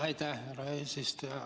Aitäh, härra eesistuja!